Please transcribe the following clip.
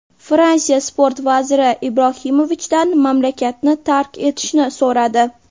Fransiya Sport vaziri Ibrohimovichdan mamlakatni tark etishni so‘radi.